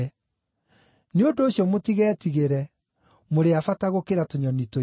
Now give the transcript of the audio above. Nĩ ũndũ ũcio mũtigetigĩre; mũrĩ a bata gũkĩra tũnyoni tũingĩ.